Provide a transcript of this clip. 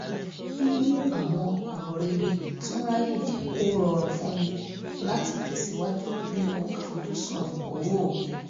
mímú àwọn ọ̀rọ̀ rere tún ráyé jẹ́ kó rọrùn fún mi láti tẹ̀síwájú nínú àfojúsùn owó mi